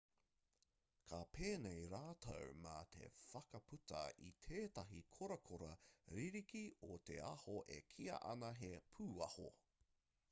ka pēnei rātou mā te whakputa i tētahi korakora ririki o te aho e kīia ana he pūaho